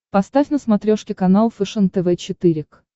поставь на смотрешке канал фэшен тв четыре к